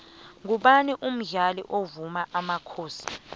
ngumani umdlali wemuva wamakhosi